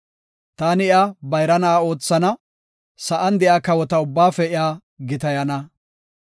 Taani iya bayra na7a oothana; sa7an de7iya kawota ubbaafe iya gitayana.